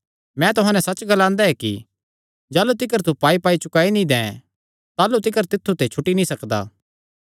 मैं तुहां नैं सच्च ग्लांदा ऐ कि जाह़लू तिकर तू पाईपाई चुकाई नीं दैं ताह़लू तिकर तित्थु ते छुटी नीं सकदा